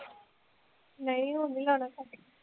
ਨਹੀਂ ਹੁਣ ਨੀ ਲਾਉਣਾ cut ਕੇ